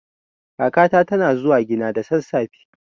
Kakata tana zuwa gina da sassafe.